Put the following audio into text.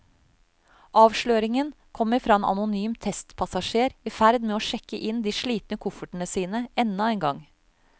Avsløringen kommer fra en anonym testpassasjer i ferd med å sjekke inn de slitne koffertene sine enda en gang.